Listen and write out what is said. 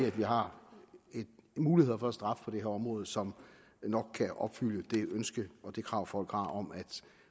at vi har muligheder for straf på dette område som nok kan opfylde det ønske og det krav folk har om at